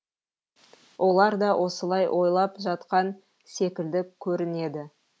олар да осылай ойлап жатқан секілді көрінеді